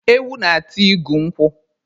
Ewu na-ata igu nkwụ.